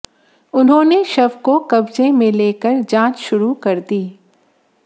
उन्होंने शव को कब्जे में लेकर जांच शुरू कर दी